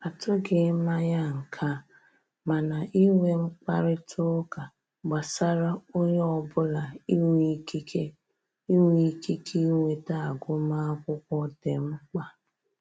A tụghị anya nke a, mana inwe mkparịta ụka gbasara onye ọbụla inwe ikike inwe ikike inweta agụmakwụkwọ dị mkpa